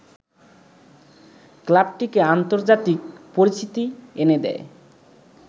ক্লাবটিকে আন্তর্জাতিক পরিচিতি এনে দেয়